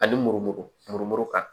Ani murumuru mumumuru kan